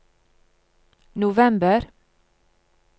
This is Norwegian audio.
november